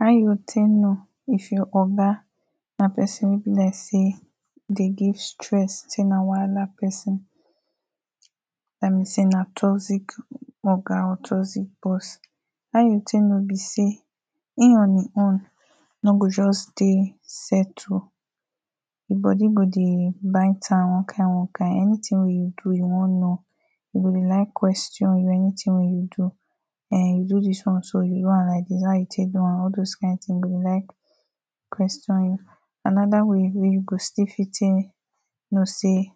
How you take know if your oga na person wey be like say dey give stress, say na wahala person dat mean say na toxic oga or toxic boss. How you take know be say him on im own no go just dey settle ‘im body go dey bite am one-kine-one kine anything wey you do e wan know e go dey like question anything wey you do. “um, you do this one like this” or “you do am like this, how you take do am?” All those kind thing e go dey like question you anoda way wey you go still take know say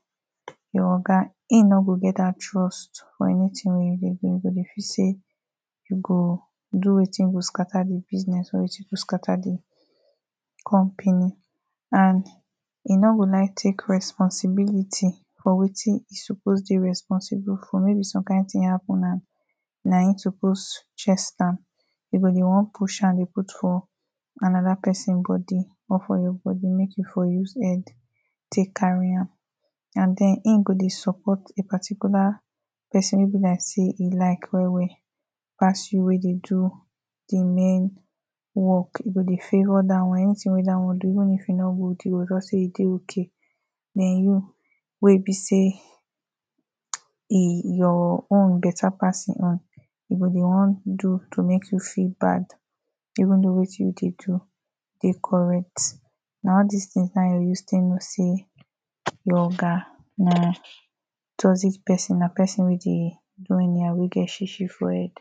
your oga, ‘im no get that trust or anything wey you go dey do e go feel say you go do wetin go scatter the business or wetin go scatter the Company and, e no go like take responsibility for wetin e suppose dey responsible for maybe some kind thing happen na him suppose chest am e go dey want push am dey put for anoder person body or for your body make you for use head take carry am And ten, e go dey support a particular person wey e be like say e like well-well pass you wey dey do the main work. e go dey favour that one Anything wey that one do even if e no good, e go just say e dey okay den you wey be sey yi your own better pass e own e go dey wan do to make you feel bad even though wetin you dey do dey correct na all dis things now you use take know sey your oga na toxic pesin na pesin wey dey do anyhow wey get shishi for head.